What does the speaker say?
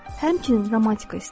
Həmçinin romantika istəyirəm.